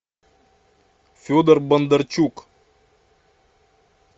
федор бондарчук